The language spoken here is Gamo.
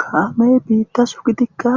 kaamey biitta su gidikka